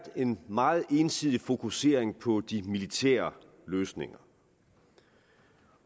en meget ensidig fokusering på de militære løsninger